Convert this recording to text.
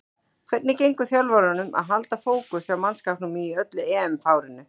Hvernig gengur þjálfaranum að halda fókus hjá mannskapnum í öllu EM-fárinu?